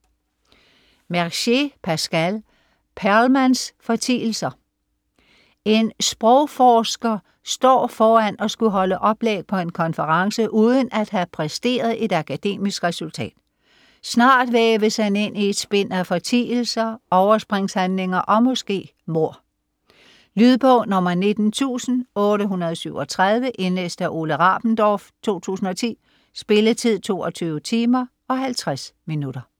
Mercier, Pascal: Perlmanns fortielser En sprogforsker står foran at skulle holde oplæg på en konference uden at have præsteret et akademisk resultat. Snart væves han ind i et spind af fortielser, overspringshandlinger og måske mord. Lydbog 19837 Indlæst af Ole Rabendorf, 2010. Spilletid: 22 timer, 50 minutter.